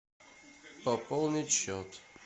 пополнить счет